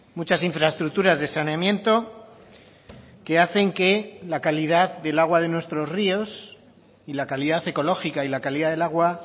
muchas infraestructuras de saneamiento que hacen que la calidad del agua de nuestros ríos y la calidad ecológica y la calidad del agua